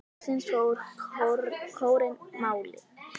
Loksins fær kórinn málið.